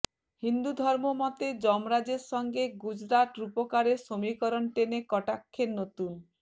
হিন্দুধর্ম মতে যমরাজের সঙ্গে গুজরাত রূপকারের সমীকরণ টেনে কটাক্ষের নতুন